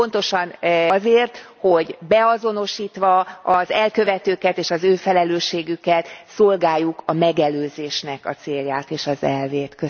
Pontosan azért, hogy beazonosítva az elkövetőket és az ő felelősségüket, szolgáljuk a megelőzésnek a célját és az elvét.